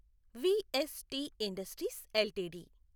VST industries LTD